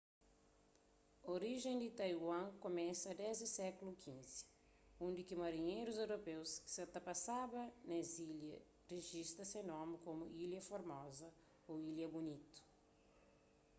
orijen di taiwan kumesa desdi sékulu xv undi ki marinherus europeus ki sa ta pasaba pa es ilha rijista se nomi komu ilha formoza ô ilha bunitu